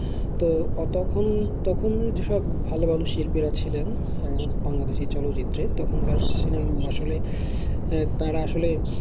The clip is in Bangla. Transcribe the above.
তো তখন তখন যেসব ভালো ভালো শিল্পীরা ছিলেন আহ বাংলাদেশী চলচ্চিত্রে তখনকার সিনেমা আসলে আহ তারা আসলে